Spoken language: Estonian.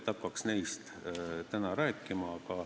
Hakkaks neist rääkima.